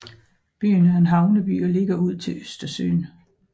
Byen er en havneby og ligger ud til Østersøen